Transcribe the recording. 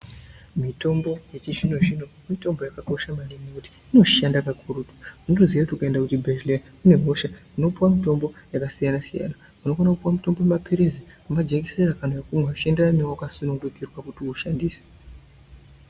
Mitombo yechizvino zvino mitombo yakakosha maningi kuti inoshanda kakurutu unotoziya kuti ukaenda kuchibhedhleya une hosha unopuwa mitombo yakasiyana siyana unokone kupuwa mutombo wemapirizi nemajekiseni zvichienderana newawakasunungikirwe kuti ushandise.